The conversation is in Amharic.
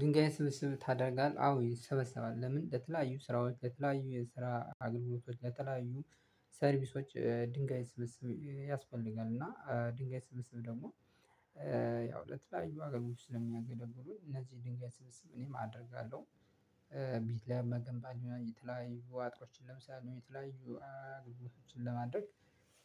ድንጋይን ስብስብ ታደርጋለህ? አዎ ይሰበሰባል። ለምን ለተለያዩ ስራዎች፣ ለተለያዩ የስራ አገልግሎቶች፣ ለተለያዩ ሰርቪሶች ድንጋይ ስብስብ ያስፈልጋል። እና ድንጋይ ስብስብ ደግሞ ያው ለተለያዩ አገልግሎቶች ስለሚያገለግሉኝ እነዚህ ድንጋይ ስብስብ እኔም አደርጋለሁ። ቤት ለመገንባት ይሆናል፤ የተለያዩ አጥሮችን ለመስራት፤ ወይም የተለያዩ አገልግሎቶችን ለማድረግ